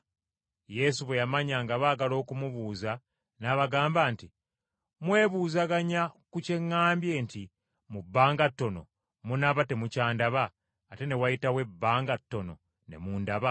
Yesu bwe yamanya nga baagala okumubuuza n’abagamba nti, “Mwebuuzaganya ku kye ŋŋambye nti mu bbanga ttono munaaba temukyandaba ate wanaayitawo ebbanga ttono ne mundaba?